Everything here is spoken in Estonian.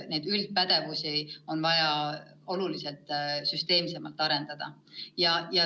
Neid üldisi pädevusi on vaja märksa süsteemsemalt arendada.